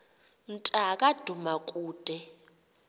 mnta ka dumakude